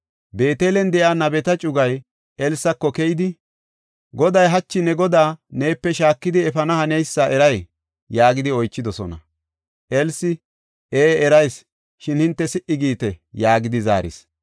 Beetelen de7iya nabeta cugay Elsako keyidi, “Goday hachi ne godaa neepe shaakidi efana haneysa eray?” yaagidi oychidosona. Elsi, “Ee erayis; shin hinte si77i giite” yaagidi zaaris.